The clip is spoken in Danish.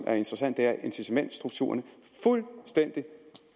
er interessant er incitamentsstrukturerne fuldstændig